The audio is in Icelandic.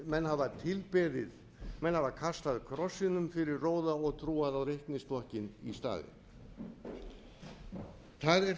menn hafa tilbeðið menn hafa kastað krossinum fyrir róða og trúað á reiknistokkinn í staðinn það er